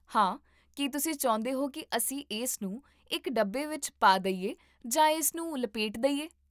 ਹਾਂ, ਕੀ ਤੁਸੀਂ ਚਾਹੁੰਦੇ ਹੋ ਕੀ ਅਸੀਂ ਇਸ ਨੂੰ ਇੱਕ ਡੱਬੇ ਵਿੱਚ ਪਾ ਦੇਈਏ ਜਾਂ ਇਸ ਨੂੰ ਲਪੇਟ ਦੇਈਏ?